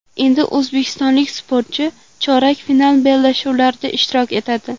Endi o‘zbekistonlik sportchi chorak final bellashuvlarida ishtirok etadi.